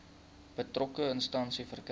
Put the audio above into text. betrokke instansie verkry